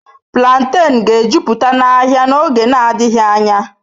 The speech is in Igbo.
Plantains ga-ejupụta ahịa n'oge adịghị anya.